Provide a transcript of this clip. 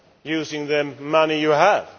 using the money you do have.